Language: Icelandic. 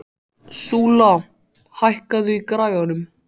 Súla, hækkaðu í græjunum.